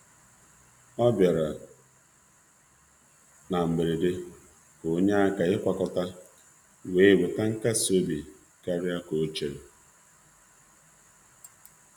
Ọ bịara na-atụghị anya ya iji nyere aka chikọta, na-eweta nkasi obi karịa ka ọ matara.